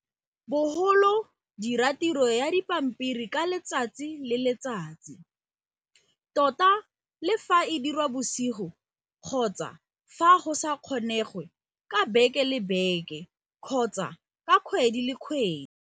Bogolo dira tiro ya dipampiri ka letsatsi le letsatsi, tota le fa e dirwa bosigo, kgotsa fa go sa kgonegwe ka beke le beke kgotsa ka kgwedi le kgwedi.